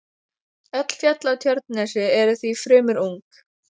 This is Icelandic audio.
Öll fjöll á Tjörnesi eru því fremur ung.